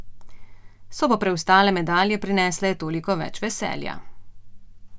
So pa preostale medalje prinesle toliko več veselja.